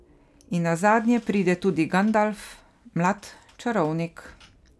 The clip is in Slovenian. In nazadnje pride tudi Gandalf, mlad čarovnik.